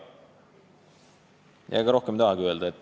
Rohkem midagi ma ei tahagi öelda.